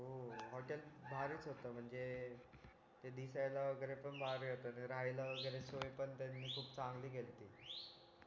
हो हॉटेल भारीच होत म्हणजे ते दिसायला वगैरे पण भारी होत ते राह्यलं वगैरे स्वयं पण त्यांनी खूप चांगली केलती